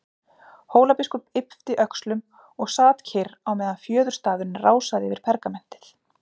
Hólabiskup yppti öxlum og sat kyrr á meðan fjöðurstafurinn rásaði yfir pergamentið.